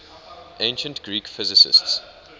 ancient greek physicists